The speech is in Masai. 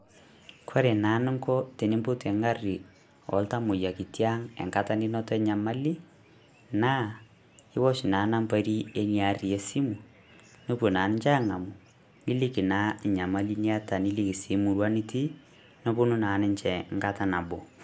Kore naa nunko tenipotuu eng'arri ooltamoyiak itii ang' enkata ninoto enyamali, naa iosh nambaari enia aari e simu, nepoo naa ninchee ang'amuu niliiki naa enyamali nieta niliki sii murrua nitii nepoonu naa ninchee nkaata neboo.